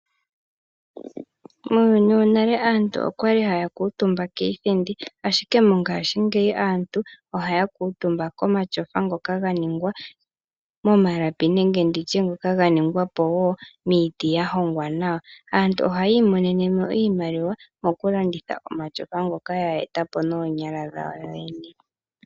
Muuyuni wonale aantu okwali haya kuutumba kiithindi ashike mongashingeyi aantu ohaya kuutumba komatyofa ngoka ganingwa momalapi nenge nditye ngoka ganingwa po wo miiti yahongwa nawa. Aantu ohaya imonenemo iimaliwa mokulanditha omatyofa ngoka ya eta po noonyala dhawo yoyene.